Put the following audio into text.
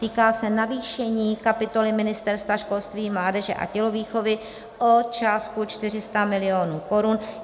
Týká se navýšení kapitoly Ministerstva školství, mládeže a tělovýchovy o částku 400 milionů korun.